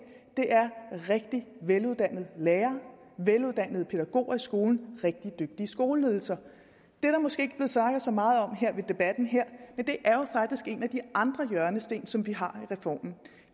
det er rigtig veluddannede lærere veluddannede pædagoger i skolen rigtig dygtige skoleledelser det er der måske ikke snakket så meget om i debatten her men det er jo faktisk en af de andre hjørnesten som vi har i reformen